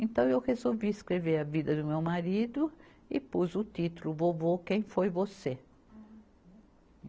Então, eu resolvi escrever a vida do meu marido e pus o título, O Vovô Quem Foi Você.